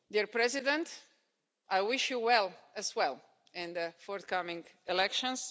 Mr President, I wish you well, as well, in the forthcoming elections.